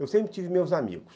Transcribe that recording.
Eu sempre tive meus amigos.